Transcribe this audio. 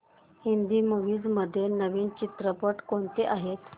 Hindi movies मध्ये नवीन चित्रपट कोणते आहेत